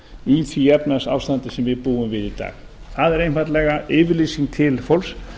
í því efnahagsástandi sem við búum við í dag það er einfaldlega yfirlýsing til fólks